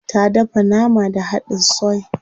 Ta dafa nama da hadin soy.